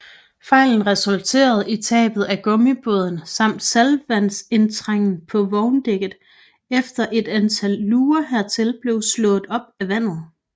Fejlen resulterede i tabet af gummibåden samt saltvandsindtrængen på vogndækket efter et antal luger hertil blev slået op af vandet